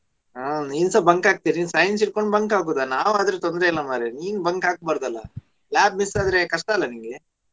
ಹಾ ನೀನ್ಸ bunk ಹಾಕ್ತಿಯಾ ನೀನ್ science ಇಟ್ಕೊಂಡು bunk ಹಾಕುದ? ನಾವ್ ಆದ್ರೆ ತೊಂದರೆ ಇಲ್ಲಾ ಮಾರ್ರೆ ನೀನ್ bunk ಹಾಕಬಾರದ್ ಅಲ್ಲಾ lab mis ಆದ್ರೆ ಕಷ್ಟ ಇಲ್ವಾ ನಿಂಗೆ?